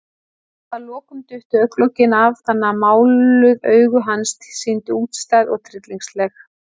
Að lokum duttu augnalokin af, þannig að máluð augu hans sýndust útstæð og tryllingsleg.